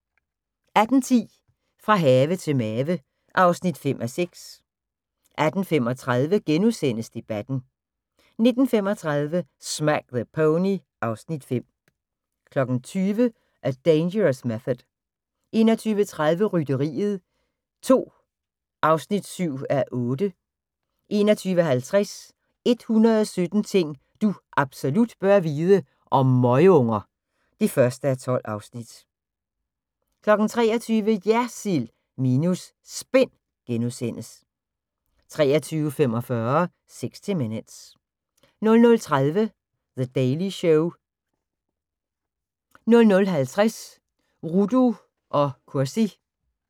18:10: Fra have til mave (5:6) 18:35: Debatten * 19:35: Smack the Pony (Afs. 5) 20:00: A Dangerous Method 21:30: Rytteriet 2 (7:8) 21:50: 117 ting du absolut bør vide - om møgunger (1:12) 23:00: JERSILD minus SPIN * 23:45: 60 Minutes 00:30: The Daily Show 00:50: Rudo & Cursi